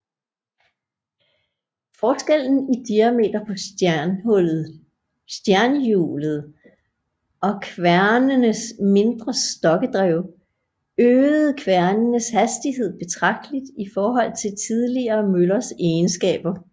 Forskellen i diameter på stjernhjulet og kværnenes mindre stokkedrev øgede kværnenes hastighed betragteligt i forhold til tidligere møllers egenskaber